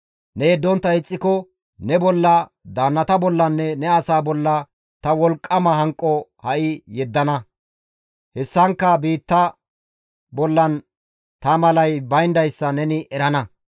Ne yeddontta ixxiko ne bolla, daannata bollanne ne asaa bolla ta wolqqama hanqo ha7i yeddana; hessankka biitta bollan ta malay bayndayssa neni erana.